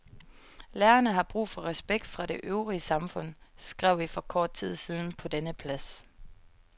Lærerne har brug for respekt fra det øvrige samfund, skrev vi for kort tid siden på denne plads.